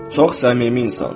Çox səmimi insandır.